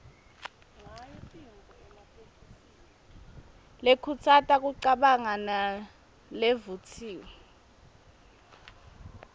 lekhutsata kucabanga nalevutsiwe